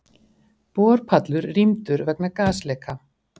Borpallur rýmdur vegna gasleka